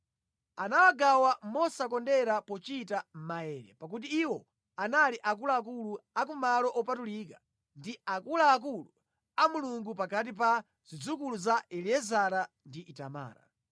Anawagawa mosakondera pochita maere, pakuti iwo anali akuluakulu a ku malo opatulika ndi akuluakulu a Mulungu pakati pa zidzukulu za Eliezara ndi Itamara.